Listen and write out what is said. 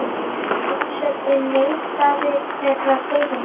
Forseti neitaði þeirri beiðni.